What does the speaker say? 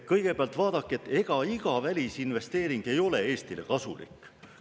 Kõigepealt, vaadake, ega iga välisinvesteering ei ole Eestile kasulik.